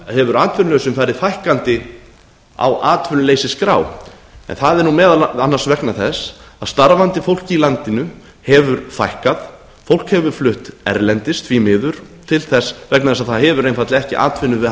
hefur atvinnulausum farið fækkandi á atvinnuleysisskrá en það er meðal annars vegna þess að starfandi fólk í landinu hefur fækkað fólk hefur flutt erlendis því miður vegna þess að það hefur einfaldlega ekki atvinnu við